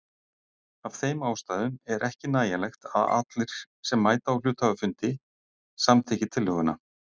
Af þeim ástæðum er ekki nægjanlegt að allir sem mæta á hluthafafund samþykki tillöguna.